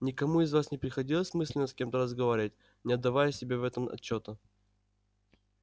никому из вас не приходилось мысленно с кем-то разговаривать не отдавая себе в этом отчёта